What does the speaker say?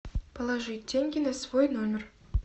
положи деньги на свой номер